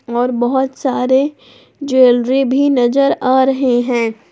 और बहुत सारे ज्वेलरी भी नजर आ रहे हैं।